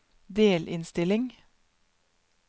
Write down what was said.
delinnstilling